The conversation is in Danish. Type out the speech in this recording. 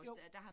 Jo